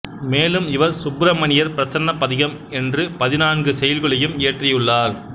மேலும் இவர் சுப்பிரமணியர் பிரசன்னப் பதிகம் என்று பதினான்கு செய்யுள்களையும் இயற்றியுள்ளார்